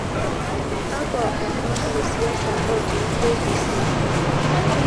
kakwa omon le siasa otii k . b . c